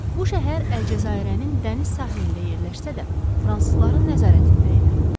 Bu şəhər Əlcəzairənin dəniz sahilində yerləşsə də, fransızların nəzarətində idi.